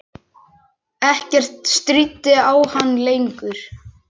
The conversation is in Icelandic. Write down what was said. Ekkert stríddi á hann lengur.